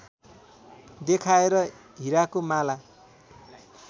देखाएर हिराको माला